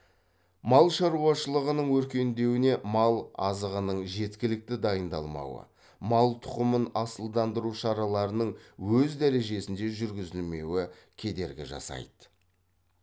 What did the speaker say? мал шаруашылығының өркендеуіне мал азығының жеткілікті дайындалмауы мал тұқымын асылдандыру шараларының өз дәрежесінде жүргізілмеуі кедергі жасайды